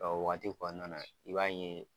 o waati kɔnɔna na i b'a ye